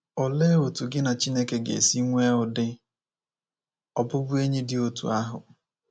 Olee otu gị na Chineke ga esi nwee ụdị ọbụbụenyị dị otú ahụ?